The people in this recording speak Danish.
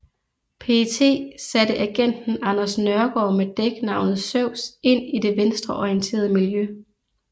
PET satte agenten Anders Nørgaard med dæknavnet Zeus ind i det venstreorienteret miljø